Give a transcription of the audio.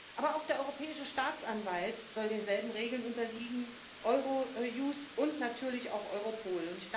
Aber auch der Europäische Staatsanwalt soll denselben Regeln unterliegen, Eurojust und natürlich auch Europol.